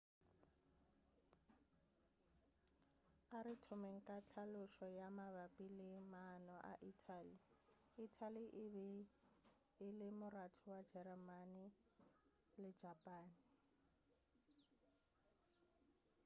a re thomeng ka tlhalošo ya mabapi le maano a ithali ithali e be e le moratho wa jeremane le japane